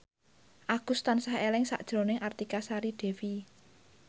Agus tansah eling sakjroning Artika Sari Devi